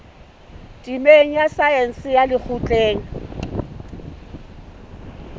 temeng ya saense ya lekgotleng